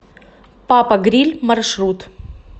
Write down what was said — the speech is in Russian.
папа гриль маршрут